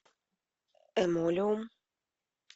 эмолиум